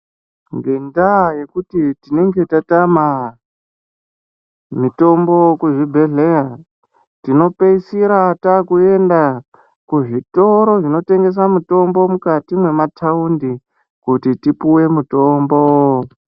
Ngedenda yekuti tinenge tatama mitombo kuzvibhedhleya tinopeisira takuenda kuzvitoro zvinotengesa mitombo mukati memataundi kuti tipuwe mutombo.